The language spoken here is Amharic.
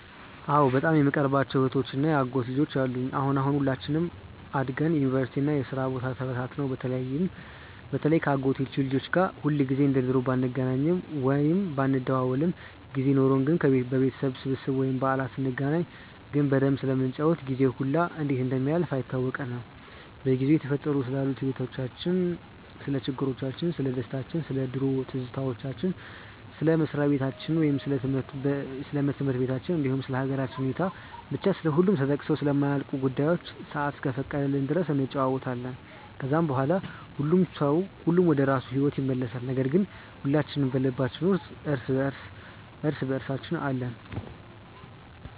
አዎ በጣም የምቀርባቸው እህቶች እና የአጎት ልጆች አሉኝ። አሁን አሁን ሁላችንም አድገን ዩኒቨርሲቲ እና የስራ ቦታ ተበታትነን በተለይ ከ አጎቶቼ ልጆች ጋር ሁልጊዜ እንደ ድሮ ባንገናኝም ወይም ባንደዋወልም ጊዜ ኖርን ግን በቤተሰብ ስብስብ ወይም በዓላት ስንገናኝ ግን በደንብ ስለምንጫወት ጊዜው ሁላ እንዴት እንደሚያልፍ አይታወቀንም። በጊዜው እየተፈጠሩ ስላሉት ህይወቲቻችን፣ ስለ ችግሮቻችን፣ ስለደስታችን፣ ስለ ድሮ ትዝታዎች፣ ስለ መስሪያ በታቸው ወይም ስለ ትምህርት በታችን እንዲሁም ስለ ሃገራችን ሁኔታ፤ ብቻ ስለሁሉም ተጠቅሰው ስለማያልቁ ጉዳዮች ሰአት እስከፈቀደችልን ድረስ እንጫወታለን። ከዛም በኋላ ሁሉም ወደራሱ ሂዎት ይመለሳል ነገር ግን ሁላችን በልባችን ውስጥ እርስ በእርሳችን አለን።